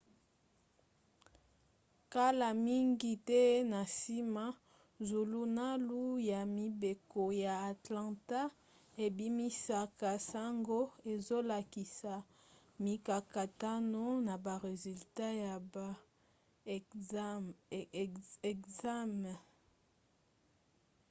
kala mingi te na nsima zulunalu ya mibeko ya atlanta ebimisaka sango ezolakisa mikakatano na ba resultat ya ba ekzame